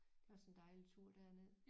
Det er også en dejlig tur derned